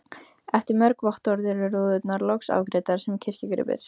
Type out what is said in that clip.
Eftir mörg vottorð eru rúðurnar loks afgreiddar sem kirkjugripir.